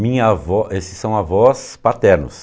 Minha avó, esses são avós paternos.